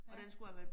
Ja